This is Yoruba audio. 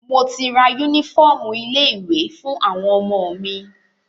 Mo ti ra yúnífọ̀ọmù ilé ìwé fún àwọn ọmọ mi.